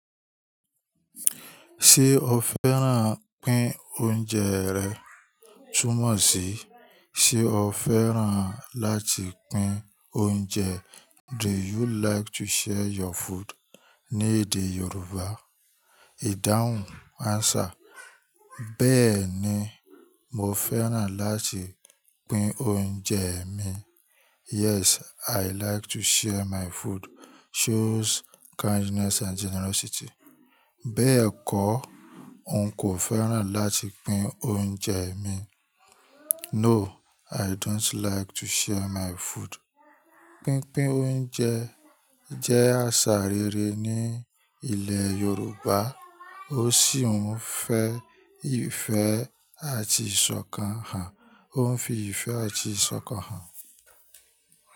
Ṣé o fẹ́ràn pín oúnjẹ rẹ túmọ̀ sí ṣe o fẹ́ràn láti pín oúnjẹ? Do you like to share your food? Ní èdè Yorùbá. Ìdáhùn answer. Bẹ́ẹ̀ ni, mo fẹ́ràn láti pín oúnjẹ mi. Yes, I like to share my food. Shows kindness and generosity. Bẹ́ẹ̀ kọ́, n kò fẹ́ràn láti pín oúnjẹ mi. No, I don't like to share my food. Pínpín oúnjẹ jẹ́ àṣà rere ní ilẹ̀ Yorùbá ó sì ń fi ìfẹ́ àti ìṣọ̀kan hàn. Ó ń fi ìfẹ́ àti ìṣọ̀kan hàn.